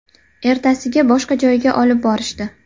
Ertasiga boshqa joyga olib borishdi.